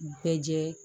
Bɛɛ jɛ